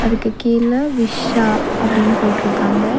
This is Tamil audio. அதுக்கு கீழ விஷ்ஷா அப்டினு போட்ருக்காங்க.